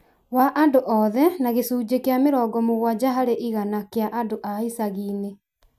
wa andũ othe na gĩcunjĩ kĩa mĩrongo mũgwanja harĩ igana kĩa andũ a icagi-inĩ